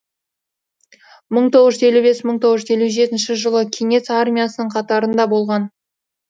мың тоғыз жүз елу бес мың тоғыз жүз елу жетінші жылы кеңес армиясының қатарында болған